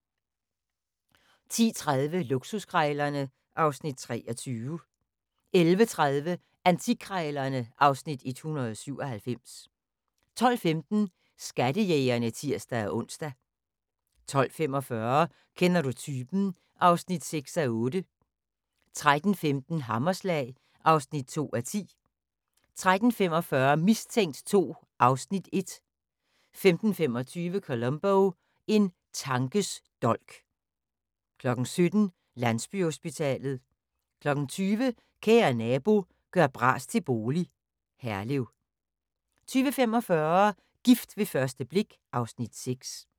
10:30: Luksuskrejlerne (Afs. 23) 11:30: Antikkrejlerne (Afs. 197) 12:15: Skattejægerne (tir-ons) 12:45: Kender du typen? (6:8) 13:15: Hammerslag (2:10) 13:45: Mistænkt 2 (Afs. 1) 15:25: Columbo: En tankes dolk 17:00: Landsbyhospitalet 20:00: Kære Nabo – gør bras til bolig – Herlev 20:45: Gift ved første blik (Afs. 6)